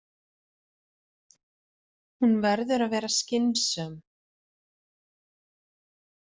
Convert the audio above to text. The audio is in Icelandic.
Hún verður að vera skynsöm.